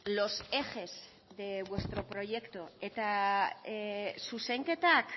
los ejes de vuestro proyecto eta zuzenketak